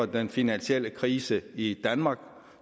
den finansielle krise i danmark